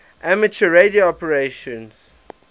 amateur radio operators